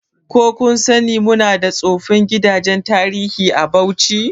Ko kun sani muna da tsofin gidajen tarihi a Bauchi?